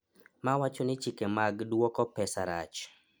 mawacho ni chike mag duoko pesa rach